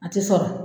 A tɛ sɔrɔ